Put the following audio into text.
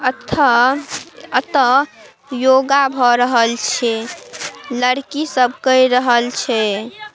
अथ अतः योगा भ रहल छे। लड़की सब कै रहल छे ।